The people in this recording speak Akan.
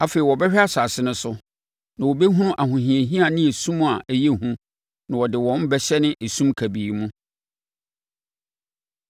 Afei wɔbɛhwɛ asase no so, na wobɛhunu ahohiahia ne esum a ɛyɛ hu, na wɔde wɔn bɛhyɛne esum kabii mu.